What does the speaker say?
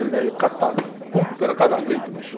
e daí catava, era cada grito, bicho.